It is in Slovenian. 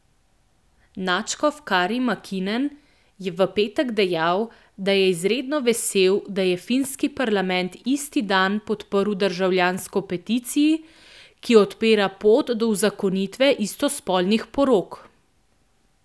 Nadškof Kari Makinen je v petek dejal, da je izredno vesel, da je finski parlament isti dan podprl državljansko peticiji, ki odpira pot do uzakonitve istospolnih porok.